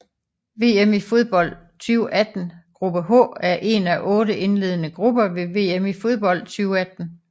VM i fodbold 2018 gruppe H er en af otte indledende grupper ved VM i fodbold 2018